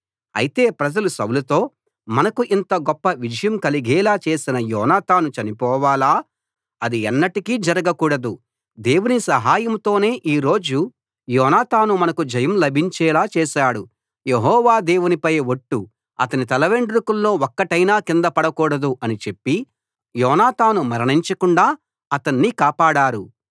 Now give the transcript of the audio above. అయితే ప్రజలు సౌలుతో మనకు ఇంత గొప్ప విజయం కలిగేలా చేసిన యోనాతాను చనిపోవాలా అది ఎన్నటికీ జరగకూడదు దేవుని సహాయంతోనే ఈ రోజు యోనాతాను మనకు జయం లభించేలా చేశాడు యెహోవా దేవునిపై ఒట్టు అతని తలవెండ్రుకల్లో ఒక్కటైనా కింద పడకూడదు అని చెప్పి యోనాతాను మరణించకుండా అతణ్ణి కాపాడారు